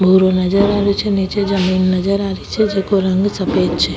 भूरो नजर आ रियो छे नीचे जमीन नजर आ रही छे जेको रंग सफ़ेद छे।